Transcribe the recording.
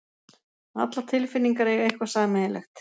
Allar tilfinningar eiga eitthvað sameiginlegt.